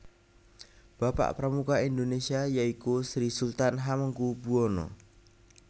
Bapak Pramuka Indonesia yaiku Sri Sultan Hamengkubuwono